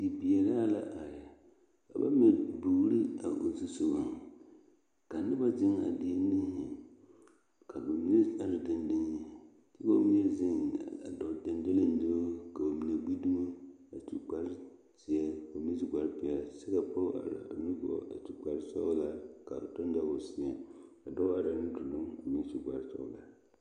Bibiiri yaga la bebe dɔɔba ane pɔgeba kaa pɔge kaŋ su kpare doɔre kaa dɔɔ meŋ be a ba niŋe saŋ a su Gaana falakyɛ kpare a seɛ Gaana falakyɛ kuri ka o nu bonyene a biŋ teŋa kyɛ teɛ a nu kaŋa meŋ a dɔɔ maale la pata.